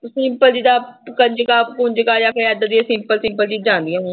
Simple ਜਿੱਦਾਂ ਕੰਜਕਾਂ ਕੁੰਜਕਾਂ ਜਾਂ ਫਿਰ ਏਦਾਂ ਦੀਆਂ simple, simple ਚੀਜ਼ਾਂ ਆਉਂਦੀਆਂ ਮੈਨੂੰ